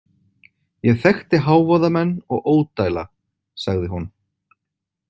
Ég þekkti hávaðamenn og ódæla, sagði hún.